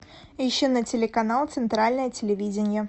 ищи на телеканал центральное телевидение